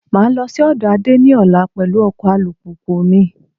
Máa lọ sí ọ̀dọ̀ Ade ní ọ̀la pẹ̀lú ọkọ alùpùpù mi